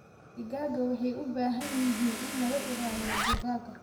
Digaagga waxa ay u baahan yihiin in laga ilaaliyo dugaagga.